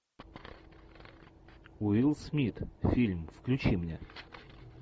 уилл смит фильм включи мне